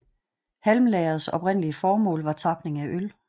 Halmlagerets oprindelige formål var tapning af øl